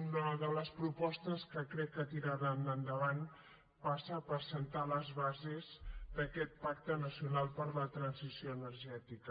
una de les propostes que crec que tiraran endavant passa per assentar les bases d’aquest pacte nacional per a la transició energètica